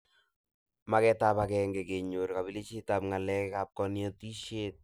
Magetab ageng kenyor kabelishetab ngalab konetishet